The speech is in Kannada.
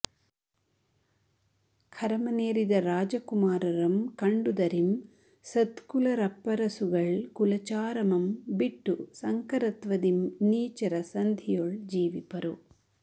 ಖರಮನೇರಿದ ರಾಜಕುಮಾರರಂ ಕಂಡುದರಿಂ ಸತ್ಕುಲರಪ್ಪರಸುಗಳ್ ಕುಲಚಾರಮಂ ಬಿಟ್ಟು ಸಂಕರತ್ವದಿಂ ನೀಚರ ಸಂಧಿಯೊಳ್ ಜೀವಿಪರು